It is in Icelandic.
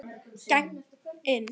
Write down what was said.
Geng inn.